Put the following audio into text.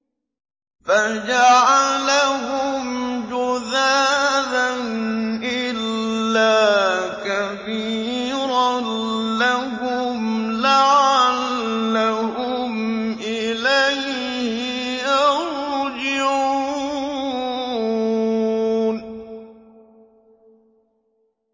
فَجَعَلَهُمْ جُذَاذًا إِلَّا كَبِيرًا لَّهُمْ لَعَلَّهُمْ إِلَيْهِ يَرْجِعُونَ